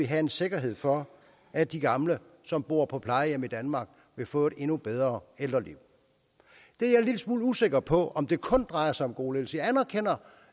have en sikkerhed for at de gamle som bor på plejehjem i danmark vil få et endnu bedre ældreliv jeg er en lille smule usikker på om det kun drejer sig om god ledelse jeg anerkender